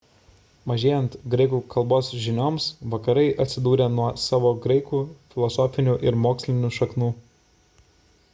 mažėjant graikų kalbos žinioms vakarai atsidūrė nuo savo graikų filosofinių ir mokslinių šaknų